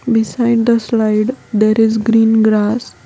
Beside the slide there is green grass